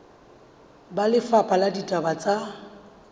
ba lefapha la ditaba tsa